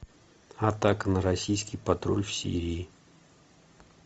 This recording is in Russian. атака на российский патруль в сирии